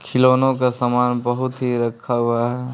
खिलौनों का सामान बहुत ही रखा हुआ हैं ।